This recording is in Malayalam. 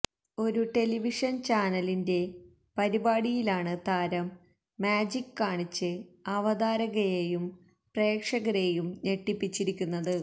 ഒരു ടെലിവിഷന് ചാനലിന്റയെ പരിപാടിയിലാണ് താരം മാജിക്ക് കാണിച്ച് അവതാരകയെയും പ്രേക്ഷകരെയും ഞെട്ടിപ്പിച്ചിരിക്കുന്നത്